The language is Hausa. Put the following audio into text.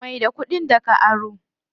Mai da kuɗin da ka aro.